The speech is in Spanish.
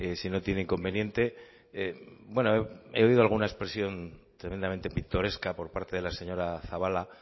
si no tiene inconveniente bueno he oído alguna expresión tremendamente pintoresca por parte de la señora zabala